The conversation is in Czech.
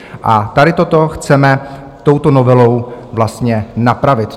A tady toto chceme touto novelou vlastně napravit.